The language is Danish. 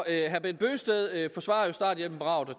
herre bent bøgsted forsvarer starthjælpen bravt og